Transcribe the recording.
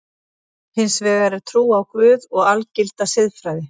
Hins vegar er trú á Guð og algilda siðfræði.